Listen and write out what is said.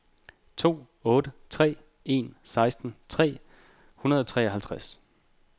to otte tre en seksten tre hundrede og treoghalvtreds